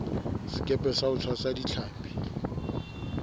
sekepe sa ho tshwasa ditlhapi